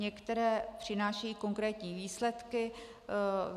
Některé přinášejí konkrétní výsledky.